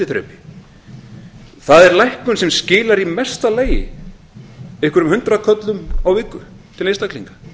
milliþrepi það er lækkun sem skilar í mesta lagi einhverjum hundraðköllum á viku til einstaklinga